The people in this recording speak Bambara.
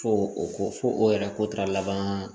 Fo o ko fo o yɛrɛ ko taara laban